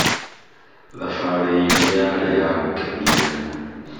thabarĩ itũ yarĩ yagũkenia